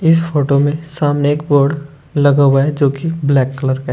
इस फोटो में सामने एक बोर्ड लगा हुआ है जो की ब्लैक कलर का है।